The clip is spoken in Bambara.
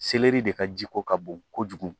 de ka ji ko ka bon kojugu